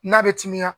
N'a bɛ timiya